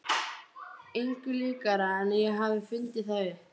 Engu líkara en ég hafi fundið það upp.